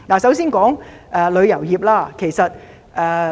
首先談談旅遊業。